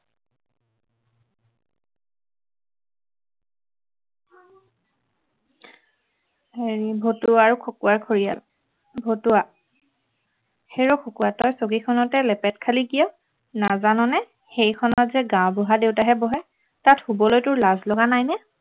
এৰ ভতুৱা আৰু খকুৱাৰ খৰিয়াল ভতুৱা - হেৰৌ খকুৱা, তই চকীখনতে লেপেট খালি কিয় নাজাননে সেইখনতযে গাঁওবুঢ়া দেউতাহে বহে, তাত শুৱলৈ তোৰ লাজ লগা নাইনে